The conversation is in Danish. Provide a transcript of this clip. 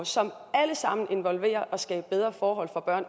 som alle sammen involverer at skabe bedre forhold for børn